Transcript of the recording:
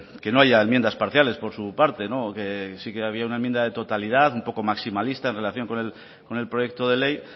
que no haya enmiendas parciales por su parte sí que había una enmienda de totalidad un poco maximalista en relación con el proyecto de ley